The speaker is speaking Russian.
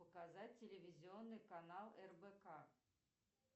показать телевизионный канал рбк